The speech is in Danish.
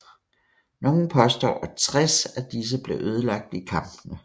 Nogle påstår at 60 af disse blev ødelagt i kampene